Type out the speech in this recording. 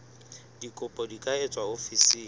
dikopo di ka etswa ofising